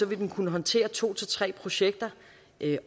vil den kunne håndtere to tre projekter